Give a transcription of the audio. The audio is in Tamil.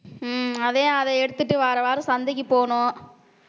ஹம் அதான் அது எடுத்துட்டு வார வாரம் சந்தைக்குப் போறோம்